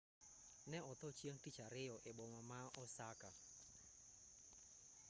ne otho chieng' tich ariyo e boma ma osaka